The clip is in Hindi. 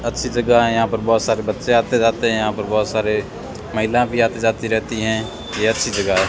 अच्छी जगह है यहां पर बहोत सारे बच्चे आते जाते हैं यहां पर बहुत सारे महिला भी आती जाती रहती हैं यह अच्छी जगह है।